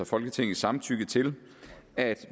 folketingets samtykke til at